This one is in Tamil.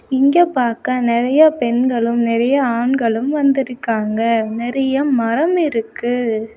இங்க பாக்க நெறைய பெண்களும் நெறைய ஆண்களும் வந்திருக்காங்க நெறைய மரம் இருக்கு.